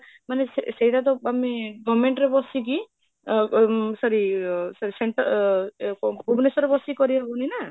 ମାନେ ସେଟାତ ଆମେ government ରେ ବସିକି ଅ ଅମ୍ ଅ sorry ଅ ଭୁବନେଶ୍ବର ରେ ବସିକି କରି ହଉନି ନା?